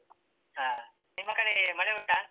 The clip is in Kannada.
ಹಾ ನಿಮ್ಮ ಕಡೆ ಮಳೆ ಉಂಟಾ?